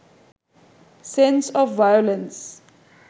sense of violence